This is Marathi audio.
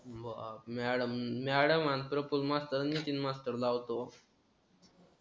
ब अं मॅडमनी प्रपोज मास्तर नितीन मास्तर लावतो